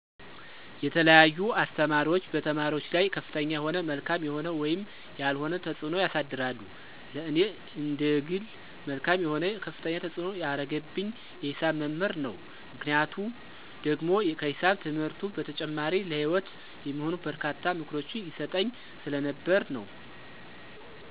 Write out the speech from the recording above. የተለያዩ አስተማሪዎች በተማሪዎች ላይ ከፍተኛ የሆነ መልካም የሆነ ወይም ያልሆነ ተፅዕኖ ያሳድራሉ። ለኔ እንደግል መልካም የሆነ ከፍተኛ ተፅዕኖ ያረገብኝ የሂሳብ መምህር ነው፤ ምክንያቱ ደግሞ ከሂሳብ ትምህርቱ በተጨማሪ ለሂወት የሚሆኑ በርካታ ምክሮችን ይሰጠኝ ስለነበር ነው።